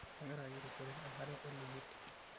Kagira ayierishore enkare oleyiet.